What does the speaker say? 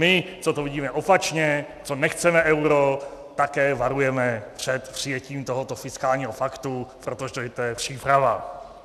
My, co to vidíme opačně, co nechceme euro, také varujeme před přijetím tohoto fiskálního paktu, protože to je příprava.